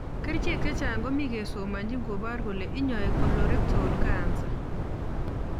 Kerichek chechang komii kesomachin kobar kole inyai colorectal cancer